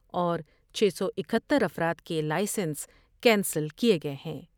اور چھ سو اکہتر افراد کے لائیسنس کینسل کئے گئے ہیں ۔